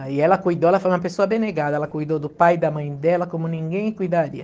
Aí ela cuidou, ela foi uma pessoa, ela cuidou do pai e da mãe dela como ninguém cuidaria.